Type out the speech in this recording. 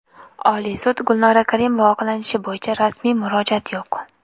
Oliy sud: Gulnora Karimova oqlanishi bo‘yicha rasmiy murojaat yo‘q .